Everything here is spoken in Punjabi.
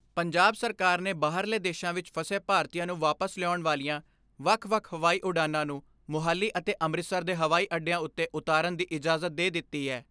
ਪੰਜਾਬ ਸਰਕਾਰ ਨੇ ਬਾਹਰਲੇ ਦੇਸ਼ਾਂ ਵਿਚ ਫਸੇ ਭਾਰਤੀਆਂ ਨੂੰ ਵਾਪਸ ਲਿਆਉਣ ਵਾਲੀਆਂ ਵੱਖ ਵੱਖ ਹਵਾਈ ਉਡਾਣਾਂ ਨੂੰ ਮੁਹਾਲੀ ਅਤੇ ਅੰਮ੍ਰਿਤਸਰ ਦੇ ਹਵਾਈ ਅੱਡਿਆਂ ਉੱਤੇ ਉਤਰਨ ਦੀ ਇਜਾਜ਼ਤ ਦੇ ਦਿੱਤੀ ਐ।